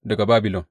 Daga Babilon.